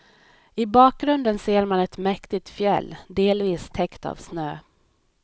I bakgrunden ser man ett mäktigt fjäll delvis täckt av snö.